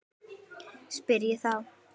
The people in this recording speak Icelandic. spyr ég þá.